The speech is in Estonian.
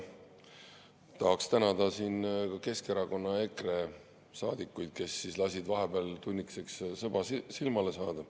Tahaksin tänada Keskerakonna ja EKRE saadikuid, kes lasid vahepeal tunnikeseks silmale saada.